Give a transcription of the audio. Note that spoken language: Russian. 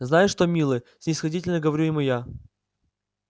знаешь что милый снисходительно говорю ему я